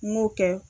N m'o kɛ